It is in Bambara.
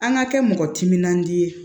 An ka kɛ mɔgɔ timinandiya ye